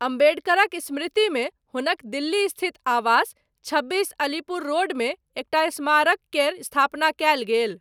अम्बेडकरक स्मृतिमे, हुनक दिल्ली स्थित आवास, छब्बीस अलीपुर रोडमे, एकटा स्मारक केर स्थापना कयल गेल।